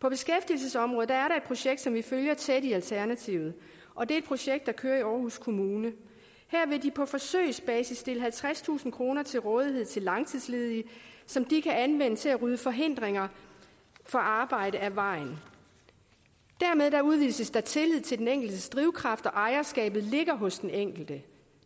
på beskæftigelsesområdet er der projekt som vi følger tæt i alternativet og det er et projekt der kører i aarhus kommune her vil de på forsøgsbasis stille halvtredstusind kroner til rådighed til langtidsledige som de kan anvende til at rydde forhindringer for arbejde af vejen dermed udvises der tillid til den enkeltes drivkraft og ejerskabet ligger hos den enkelte